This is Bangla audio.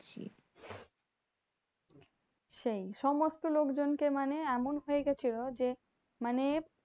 সেই সমস্ত লোকজনকে মানে এমন হয়েগেছিলো যে, মানে